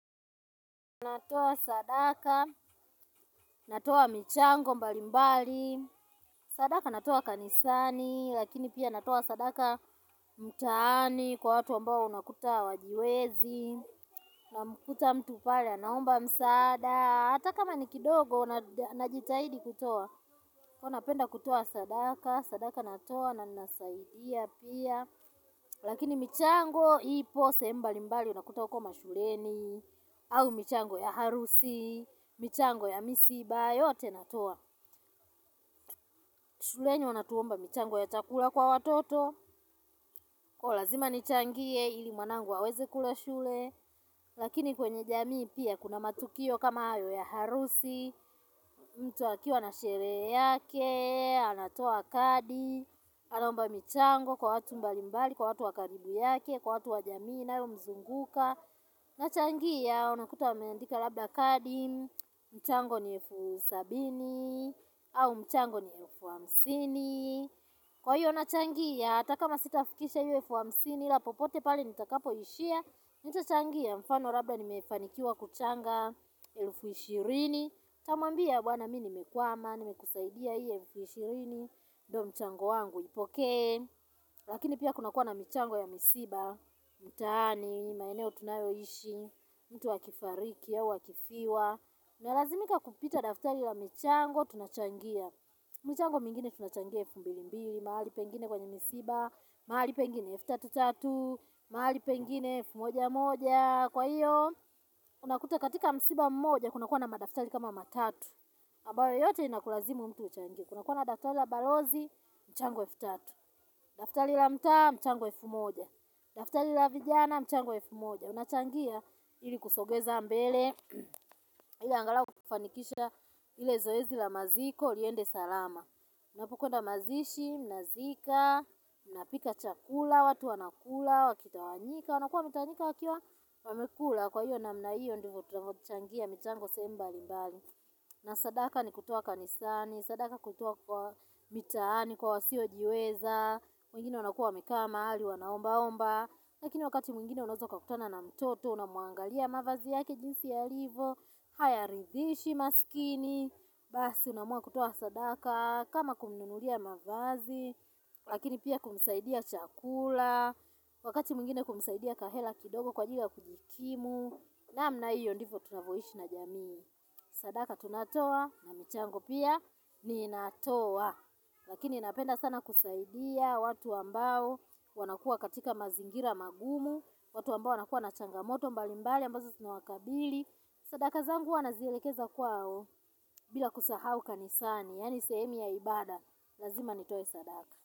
Natoa sadaka, natoa michango mbalimbali, sadaka natoa kanisani, lakini pia natoa sadaka mtaani kwa watu ambao unakuta hawajiwezi, unamkuta mtu pale anaomba msaada, hata kama ni kidogo unajitahidi kutoa, huwa napenda kutoa sadaka, sadaka natoa na ninasaidia pia, Lakini michango ipo sehemu mbalimbali unakuta huko mashuleni au michango ya harusi, michango ya misiba yote natoa shuleni wanatuomba michango ya chakula kwa watoto huko lazima nichangie ili mwanangu aweze kula shule Lakini kwenye jamii pia kuna matukio kama hayo ya harusi mtu akiwa na sherehe yake, anatoa kadi Anaomba michango kwa watu mbalimbali, kwa watu wa karibu yake kwa watu wa jamii inayomzunguka nachangia unakuta wameandika labda kadi mchango ni elfu Sabini au mchango ni elfu hamsini kwa hiyo nachangia hata kama sitafikisha hio elfu hamsini ila popote pale nitakapoishia nitachangia mfano labda nimefanikiwa kuchanga elfu ishirini nitamwambia bwana mimi nimekwama nimekusaidia hiyo elfu ishirini ndio mchango wangu ipoke lakini pia kunakua na mchango ya misiba mtaani, maeneo tunayoishi mtu akifariki, au akifiwa Nalazimika kupita daftari la michango tunachangia michango mingine tunachangia elfu mbilimbili mahali pengine kwenye misiba mahali pengine elfu tatu tatu mahali pengine elfu mojamoja Kwa hiyo, unakuta katika msiba mmoja kuna kuwa na madaftari kama matatu ambaye yote inakulazimu mtu uchangie Kuna kuwa na daftari la balozi, mchango elfu tatu daftari la mta, mchango elfu moja daftari la vijana mchango wa elfu moja Unachangia ili kusogeza mbele Ili angalau kufanikisha ile zoezi la maziko liende salama Unapokwenda mazishi, mnazika, mnapika chakula, watu wanakula, wakitawanyika wanakua wanatawanyika wakiwa wamekula kwa hiyo namna hiyo ndivyo tunavochangia michango sehemu mbalimbali na sadaka ni kutoa kanisani, sadaka kutoa kwa mitaani, kwa wasiojiweza mwingine wanakua wamekaa mahali wanaomba omba Lakini wakati mwingine unaeza ukakutana na mtoto Unamuangalia mavazi yake jinsi yalivyo hayaridhishi maskini Basi unaamua kutoa sadaka kama kumununulia mavazi Lakini pia kumsaidia chakula Wakati mwingine kumsaidia kahela kidogo kwa ajili ya kujikimu namna hiyo ndivyo tunavyoishi na jamii Sadaka tunatoa na mchango pia ninatoa Lakini napenda sana kusaidia watu ambao wanakua katika mazingira magumu watu ambao wanakua na changamoto mbalimbali ambazo zinawakabili Sadaka zangu huwa nazielekeza kwao bila kusahau kanisani Yaani sehemu ya ibada, lazima nitoe sadaka.